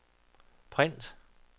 print